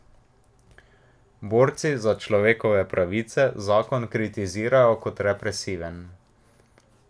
Borci za človekove pravice zakon kritizirajo kot represiven.